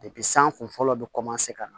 san kun fɔlɔ bɛ ka na